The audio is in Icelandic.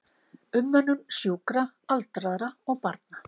Umönnun sjúkra, aldraðra og barna.